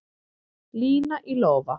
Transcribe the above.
Lína í lófa